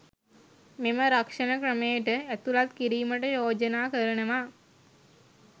මෙම රක්ෂණ ක්‍රමයට ඇතුළත් කිරීමට යෝජනා කරනවා